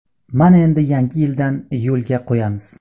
Mana endi yangi yildan yo‘lga qo‘yamiz.